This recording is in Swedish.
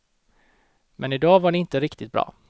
Men idag var det inte riktigt bra.